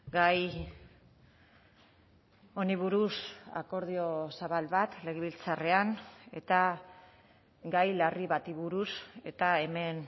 gai honi buruz akordio zabal bat legebiltzarrean eta gai larri bati buruz eta hemen